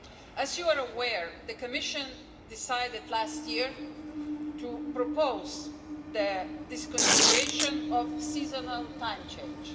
As you are aware, the Commission decided last year to propose the discontinuation of the seasonal time change.